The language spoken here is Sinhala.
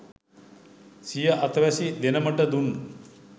සිය අතවැසි දෙනමට දුන්